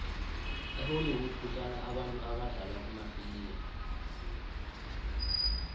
ehollwood kuhlala abantu abadlala kumafilimu